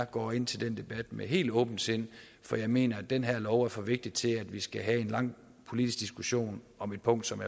går ind til den debat med helt åbent sind for jeg mener at den her lov er for vigtig til at vi skal have en lang politisk diskussion om et punkt som